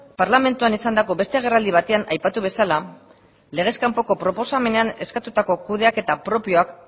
parlamentuan esandako beste agerraldi batean aipatu bezala legez kanpoko proposamenean eskatutako kudeaketa propioak